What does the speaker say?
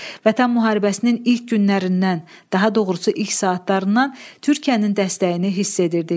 Vətən müharibəsinin ilk günlərindən, daha doğrusu ilk saatlarından Türkiyənin dəstəyini hiss edirdik.